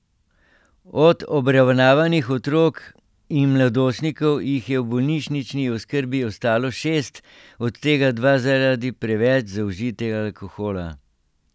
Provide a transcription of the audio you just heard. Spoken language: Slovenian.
Od obravnavanih otrok in mladostnikov jih je v bolnišnični oskrbi ostalo šest, od tega dva zaradi preveč zaužitega alkohola.